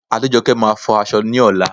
Adéjọkẹ́ máa fọ aṣọ ní ọ̀la